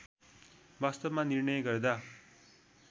वास्तवमा निर्णय गर्दा